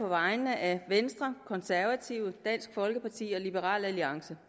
vegne af venstre konservative dansk folkeparti og liberal alliance